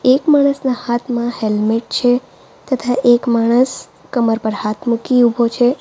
એક માણસના હાથમાં હેલ્મેટ છે તથા એક માણસ કમર પર હાથ મૂકી ઊભો છે.